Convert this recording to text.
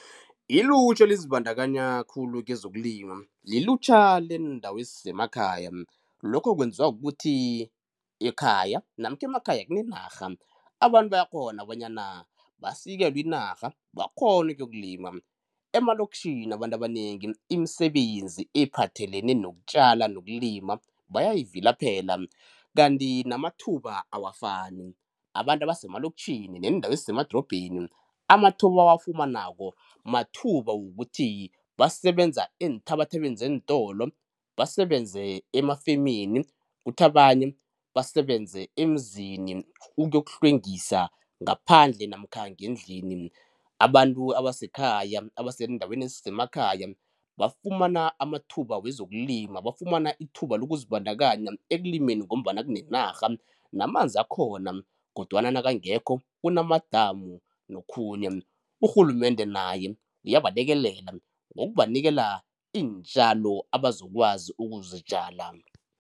Ilutjha elizibandakanya khulu kezokulima liliutjha leendawo ezisemakhaya lokho kwenziwa kukuthi ekhaya namkha emakhaya kunenarha abantu bayakghona bonyana basikelwe inarha bakghone ukuyokulima, emaloktjhini abantu abanengi imisebenzi ephathelene nokutjala nokulima bayayivilaphela kanti namathuba awafani. Abantu ebasemaloktjhini neendawo ezisemadrobheni amathuba ebawafumanako mathuba wokuthi basebenza eenthabathabeni zeentolo, basebenze emafemini kuthi abanye basebenze emizini ukuyokuhlwengisa ngaphandle namkha ngendlini. Abantu abasekhaya abaseendaweni ezisemakhaya bafumana amathuba wezokulima bafumana ithuba lokuzibandakanya ekulimeni ngombana kunenarha namanzi akhona kodwana nakangekho kunamadamu nokhunye, urhulumende naye uyabalekelela ngokubanikela iintjalo ebazokwazi ukuzitjala.